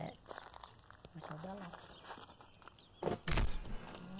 É. Mercado da Lapa.